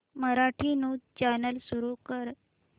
Marathi news channel सुरू कर